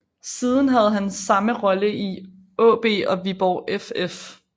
Siden havde han samme rolle i AaB og Viborg FF